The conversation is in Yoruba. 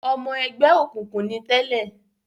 Ọmọ ẹgbẹ́ òkùnkùn ni tẹ́lẹ̀